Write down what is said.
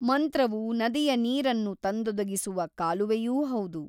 ಮಂತ್ರವು ನದಿಯ ನೀರನ್ನು ತಂದೊದಗಿಸುವ ಕಾಲುವೆಯೂ ಹೌದು.